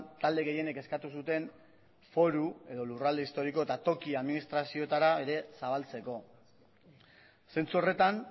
talde gehienek eskatu zuten foru edo lurralde historiko eta toki administrazioetara ere zabaltzeko zentzu horretan